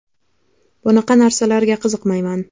Bunaqa narsalarga qiziqmayman.